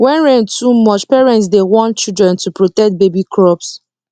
when rain too much parents dey warn children to protect baby crops